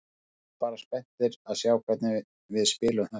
Við bíðum bara spenntir að sjá hvernig við spilum þetta.